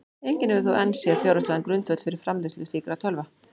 Enginn hefur þó enn séð fjárhagslegan grundvöll fyrir framleiðslu slíkra tölva.